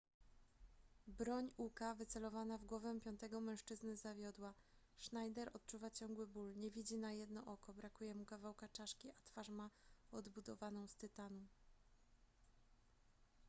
broń uka wycelowana w głowę piątego mężczyzny zawiodła schneider odczuwa ciągły ból nie widzi na jedno oko brakuje mu kawałka czaszki a twarz ma odbudowaną z tytanu